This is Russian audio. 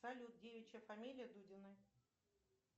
салют девичья фамилия дудиной